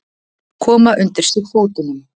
Koma undir sig fótunum.